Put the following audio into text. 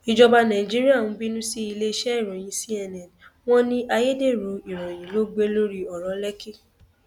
ìjọba nàìjíríà ń bínú sí iléeṣẹ ìròyìn cnn wọn ní ayédèrú ìròyìn ló gbé lórí ọrọ lèkì